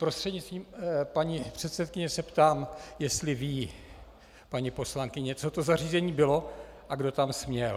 Prostřednictvím paní předsedkyně se ptám, jestli ví paní poslankyně, co to zařízení bylo a kdo tam směl.